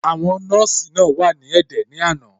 Àwọn nọ́ọ̀sì náà wà ní ẹ̀dẹ̀ ní àná.